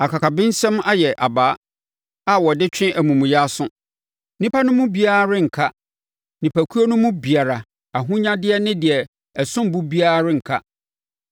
Akakabensɛm ayɛ abaa a wɔde twe amumuyɛ aso. Nnipa no mu biara renka, nnipakuo no mu biara, ahonyadeɛ ne deɛ ɛsom bo biara renka.